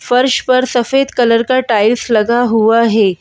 फर्श पर सफेद कलर का टाइल्स लगा हुआ है।